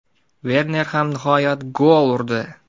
Verner ham nihoyat gol urdi!.